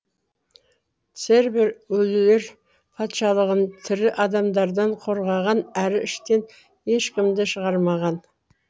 цербер өлілер патшалығын тірі адамдардан қорғаған әрі іштен ешкімді шығармаған